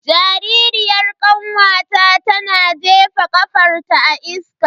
Jaririyar kanwata tana jefa kafarta a iska.